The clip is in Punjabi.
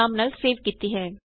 ਨਾਮ ਨਾਲ ਸੇਵ ਕੀਤੀ ਹੈ